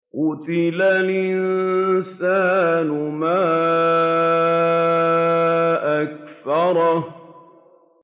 قُتِلَ الْإِنسَانُ مَا أَكْفَرَهُ